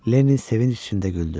Lenni sevinç içində güldü.